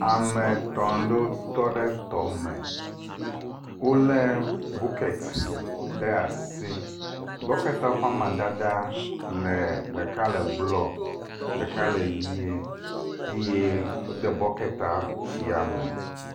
ametɔ̃ ɖowo tɔɖe tɔme wóle bukɛt ɖe asi bɔkɛta ƒa madada le ɖeka ke blɔ ɖeka le yie eye wóde bɔkɛta tsia me